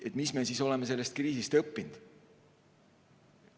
Mis me oleme sellest kriisist õppinud?